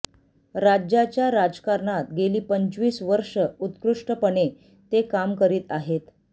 राज्याच्या राजकारणात गेली पंचवीस वर्षे उत्कृष्टपणे ते काम करीत आहेत